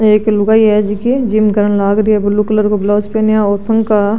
एक लुगाई है जिकी जिम करन लाग रही है ब्लू कलर ब्लाउज पहनी है